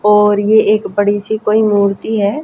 और ये एक बड़ी सी कोई मूर्ति है।